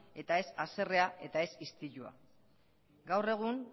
eta ez haserrea eta ez istilua gaur egun